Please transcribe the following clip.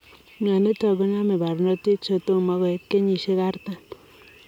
Mionitok konome parnotik chetomo koit kenyisiek artam.